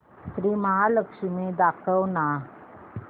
श्री महालक्ष्मी दाखव ना